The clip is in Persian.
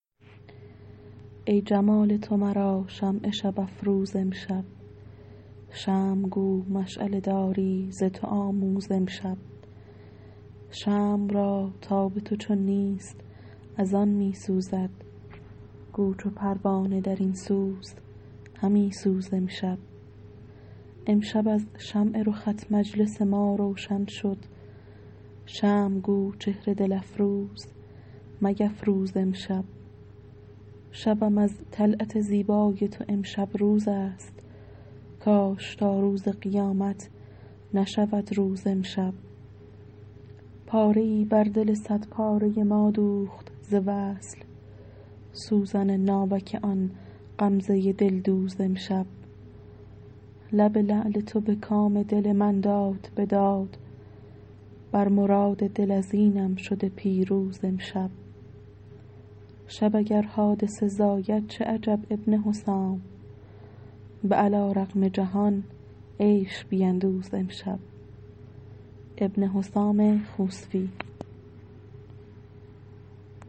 ای جمال تو مرا شمع شب افروز امشب شمع گو مشعله داری ز تو آموز امشب شمع را تاب تو چون نیست از آن می سوزد گو چو پروانه درین سوز همی سوز امشب امشب از شمع رخت مجلس ما روشن شد شمع گو چهر دل افروز میفروز امشب شبم از طلعت زیبای تو امشب روزست کاش تا روز قیامت نشود روز امشب پاره ای بر دل صد پاره ما دوخت ز وصل سوزن ناوک آن غمزه دلدوز امشب لب لعل تو به کام دل من داد بداد بر مراد دل از اینم شده پیروز امشب شب اگر حادثه زاید چه عجب ابن حسام به علی رغم جهان عیش بیندوز امشب